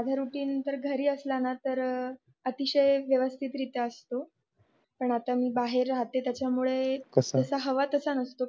माझा रुटीन तर घरी असला तर अतिशय व्यवस्थित रित्या असतो पण आता मी बाहेर राहते त्यामुळेकस हवा तस नसतो